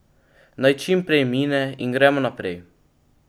Naj čim prej mine in gremo naprej.